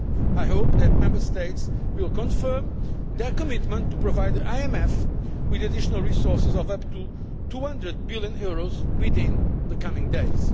I hope that Member States will confirm their commitment to provide the IMF with additional resources of up to EUR 200 billion within the coming days.